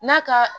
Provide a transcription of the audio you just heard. N'a ka